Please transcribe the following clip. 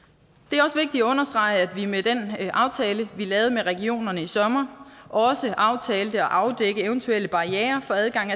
det understrege at vi med den aftale vi lavede med regionerne i sommer også aftalte at afdække eventuelle barrierer for adgang